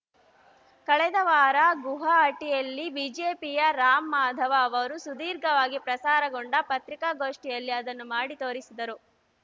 ಕಳೆದ ವಾರ ಗುವಾಹಟಿಯಲ್ಲಿ ಬಿಜೆಪಿಯ ರಾಮ್‌ ಮಾಧವ ಅವರು ಸುದೀರ್ಘವಾಗಿ ಪ್ರಸಾರಗೊಂಡ ಪತ್ರಿಕಾಗೋಷ್ಠಿಯಲ್ಲಿ ಅದನ್ನು ಮಾಡಿ ತೋರಿಸಿದರು